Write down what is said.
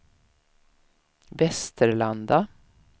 Västerlanda